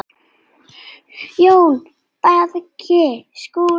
JÓN BEYKIR: Skúli!